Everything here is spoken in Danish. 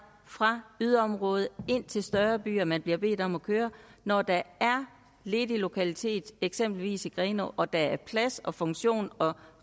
fra yderområde ind til større byer man bliver bedt om at køre når der er ledige lokaliteter i eksempelvis grenå og der er plads og funktion og